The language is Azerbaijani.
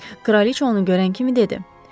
Kraliçə onu görən kimi dedi: